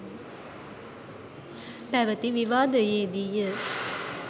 පැවති විවාදයේදීය.